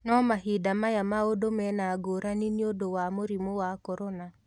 No mahinda maya maũndũ mena ngũrani nĩ ũndũ wa mũrimũ wa corona.